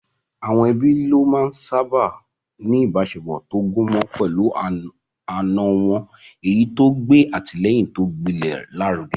Àwọn ẹbí lónìí sáábà ń ní ìbáṣepọ̀ tó gúnmọ́ pẹ̀lú àna wọn, èyí tó ń gbé àtìlẹ́yìn tó gbilẹ̀ lárugẹ.